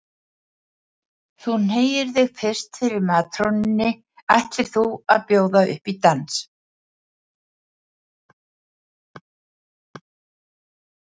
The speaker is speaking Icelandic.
Þú hneigir þig fyrst fyrir matrónunni ætlir þú að bjóða upp í dans.